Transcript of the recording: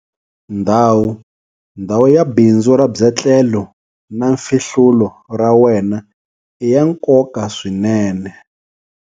Ndhawu - Ndhawu ya bindzu ra byetlelo na mfihlulo ra wena i ya nkoka swinene.